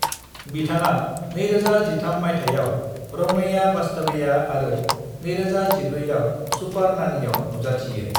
बिथाङा 2013 मायथाइयाव रमैया वास्तवैया आरो 2014 आव सुपार नानीआव नुजाथियो।